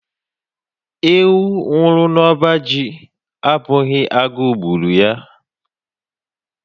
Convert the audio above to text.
Ewu nwuru n'ọbá jị, ọ bụghị agụụ gbùrù ya.